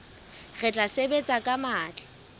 re tla sebetsa ka matla